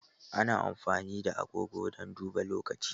Ana amfani da agogo don duba lokaci.